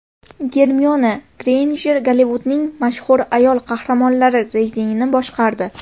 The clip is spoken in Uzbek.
Germiona Greynjer Gollivudning mashhur ayol qahramonlari reytingini boshqardi.